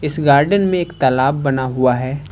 इस गार्डन में एक तालाब बना हुआ है।